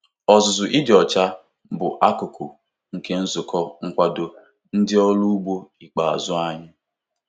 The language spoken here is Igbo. Ọzụzụ ịdị ọcha bụ akụkụ nke nzukọ nkwado ndị ọrụ ugbo ikpeazụ anyị.